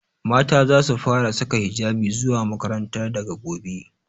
Mata zasu fara saka hijabi zuwa makaranta daga gobe.